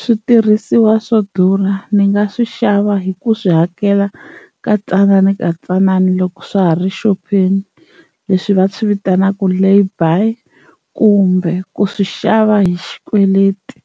Switirhisiwa swo durha ni nga swi xava hi ku swi hakela katsananakatsanana loko swa ha ri xopeni leswi va swi vitanaka laybuy kumbe ku swi xava hi xikweleti